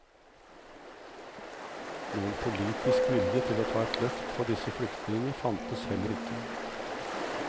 Noen politisk vilje til å ta et løft for disse flyktningene fantes heller ikke.